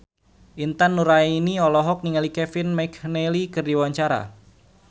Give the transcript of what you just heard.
Intan Nuraini olohok ningali Kevin McNally keur diwawancara